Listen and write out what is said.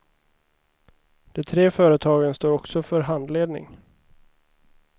De tre företagen står också för handledning.